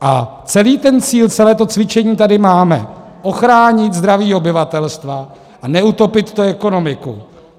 A celý ten cíl, celé to cvičení tady máme - ochránit zdraví obyvatelstva a neutopit tu ekonomiku.